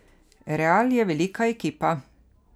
Real je velika ekipa.